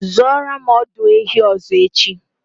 Zụoro m ọdụ ehi ọzọ echi!